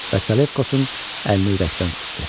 Və Salekosun əlini ürəkdən sıxdı.